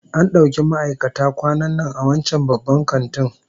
An dauki ma'aikata kwanan nan a wancan babban kantin